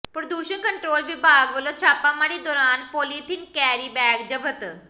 ਪ੍ਰਦੂਸ਼ਣ ਕੰਟਰੋਲ ਵਿਭਾਗ ਵੱਲੋਂ ਛਾਪਾਮਾਰੀ ਦੌਰਾਨ ਪੋਲੀਥੀਨ ਕੈਰੀਬੈਗ ਜ਼ਬਤ